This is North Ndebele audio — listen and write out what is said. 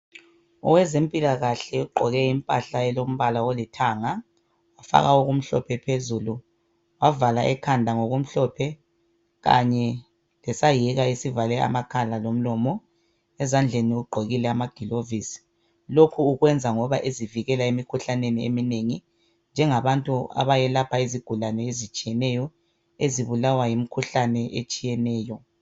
Owezempilakahle ugqoke impahla elombala olithanga wafaka okumhlophe phezulu wavala ekhanda ngokumhlophe kanye lesayeka esivale amakhala lomlomo ezandleni ugqokile amagilovisi lokhu ukwenza ngoba ezivikela emikhuhlaneni eminengi. Njengabantu abayelapha izigulane ezitshiyeneyo ezibulawa yimikhuhlane etshiyeneyo.